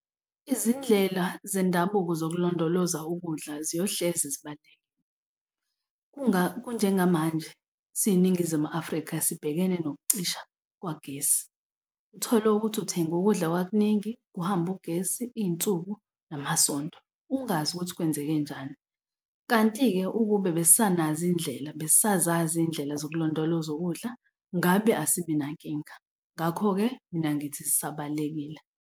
Izindlela zendabuko zokulondoloza ukudla ziyohleze zibalulekile. Kunjengamanje siyiNingizimu Afrika sibhekene nokucisha kwagesi uthole ukuthi uthenge ukudla kwakuningi, kuhambe ugesi iy'nsuku namasonto ungazi ukuthi kwenzekenjani. Kanti-ke ukube besisanazo iy'ndlela besisazazi iy'ndlela zokulondoloza ukudla ngabe asinankinga. Ngakho-ke mina ngithi zisabalulekile.